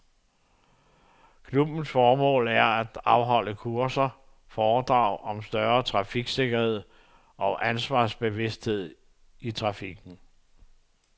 Klubbens formål er at afholde kurser og foredrag om større trafiksikkerhed og ansvarsbevidsthed i trafikken.